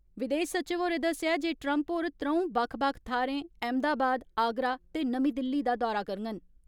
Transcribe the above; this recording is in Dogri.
विदेश सचिव होरें दस्सेआ जे ट्रम्प होर त्रौंऊ बक्ख बक्ख थ्हारें अहमदाबाद, आगरा ते नमीं दिल्ली दा दौरा करङन।